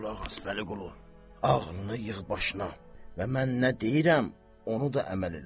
Qulaq as, Vəliqulu, ağlını yığ başına və mən nə deyirəm, onu da əməl elə.